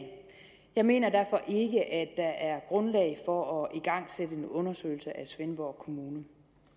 jeg mener derfor ikke at der er grundlag for at igangsætte en undersøgelse af svendborg kommune